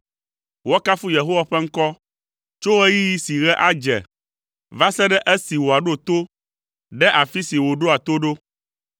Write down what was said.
Woakafu Yehowa ƒe ŋkɔ tso ɣeyiɣi si ɣe adze va se ɖe esi wòaɖo to ɖe afi si wòɖoa to ɖo.